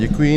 Děkuji.